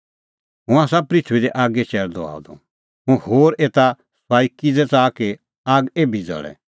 हुंह आसा पृथूई दी आगी चैल़दअ आअ द हुंह होर एता सुआई किज़ै च़ाहा कि आग एभी ज़ल़े